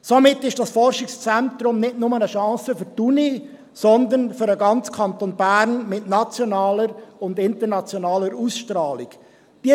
Somit ist dieses Forschungszentrum nicht nur eine Chance für die Universität, sondern mit der nationalen und internationalen Ausstrahlung auch für den ganzen Kanton Bern.